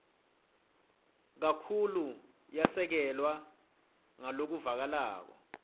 kakhulu yasekelwa ngalokuvakalako